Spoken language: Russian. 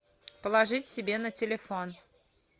положить себе на телефон